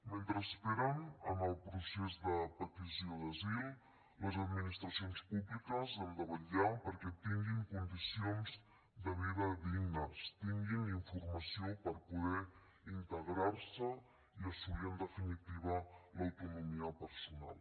mentre esperen en el procés de petició d’asil les administracions públiques hem de vetllar perquè tinguin condicions de vida dignes tinguin informació per poder integrar se i assolir en definitiva l’autonomia personal